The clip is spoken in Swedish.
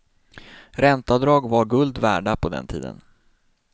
Ränteavdrag var guld värda på den tiden.